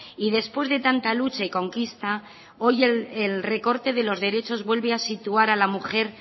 y después de tanta lucha y conquista hoy el recorte de los derechos vuelve a situar a la mujer